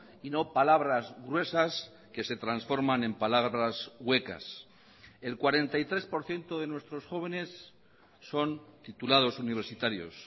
y no palabras gruesas que se transforman en palabras huecas el cuarenta y tres por ciento de nuestros jóvenes son titulados universitarios